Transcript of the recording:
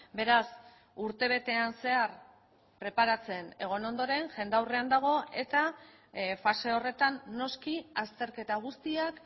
beraz urtebetean zehar preparatzen egon ondoren jendaurrean dago eta fase horretan noski azterketa guztiak